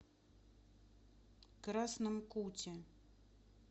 красном куте